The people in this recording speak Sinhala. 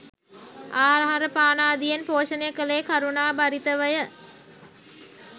ආහාරපානාදියෙන් පෝෂණය කළේ කරුණාභරිතවය.